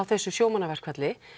þessu sjómannaverkfalli